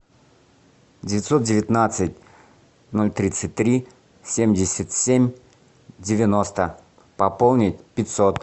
девятьсот девятнадцать ноль тридцать три семьдесят семь девяносто пополнить пятьсот